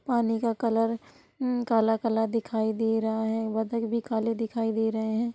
पानी का कलर उम काला काला दिखाई दे रहा है| बतक भी काले दिखाई दे रहे है।